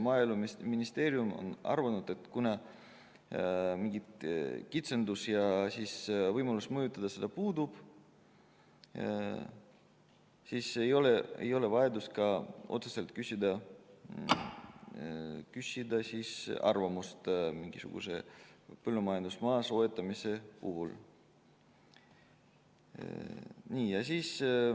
Maaeluministeerium on aga arvanud, et kui mingeid kitsendusi ei ole ja võimalus mõjutada puudub, siis ei ole ka otsest vajadust küsida mingisuguse põllumajandusmaa soetamise korral arvamust.